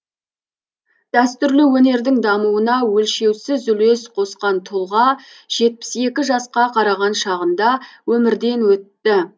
дәстүрлі өнердің дамуына өлшеусіз үлес қосқан тұлға жетпіс екі жасқа қараған шағында өмірден өтті